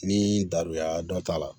Ni daduguya dɔ t'a la